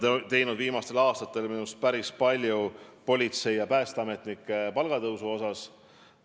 Me oleme viimastel aastatel minu arust päris palju teinud politseinike ja päästeametnike palga tõstmiseks.